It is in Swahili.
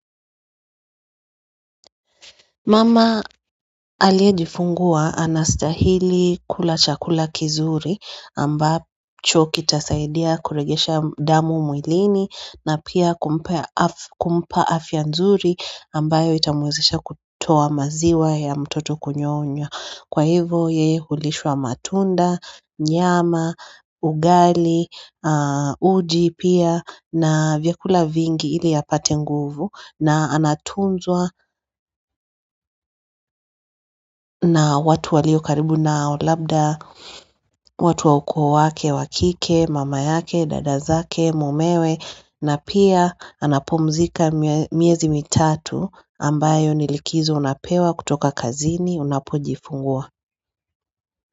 Mama aliyejifungua ana stahili kula chakula kizuri amba cho ki tasaidia kuregesha damu mwilini na pia kumpea afya kumpa afya nzuri ambayo itamwezesha kutoa maziwa ya mtoto kunyonya. Kwa hivo yeye hulishwa matunda, nyama, ugali, uji pia na vyakula vingi ili apate nguvu na anatunzwa na watu walio karibu nao labda, watu wa ukoo wake, wakike, mama yake, dada zake, mumewe na pia anapumzika miezi mitatu ambayo nilikizo unapewa kutoka kazini unapo jifungua.